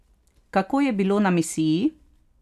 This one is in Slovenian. Kako je bilo na misiji?